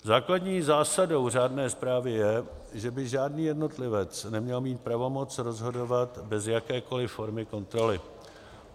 Základní zásadou řádné správy je, že by žádný jednotlivec neměl mít pravomoc rozhodovat bez jakékoli formy kontroly.